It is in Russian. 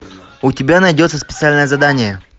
у тебя найдется специальное задание